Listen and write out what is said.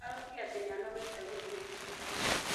Araugire atĩ nĩanogete gũthiĩ thukuru